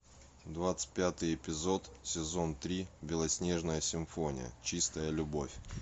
двадцать пятый эпизод сезон три белоснежная симфония чистая любовь